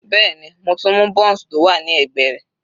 Bẹ́ẹ̀ni, mo tún mú bounce tó wà ní ẹ̀gbẹ́ rẹ̀.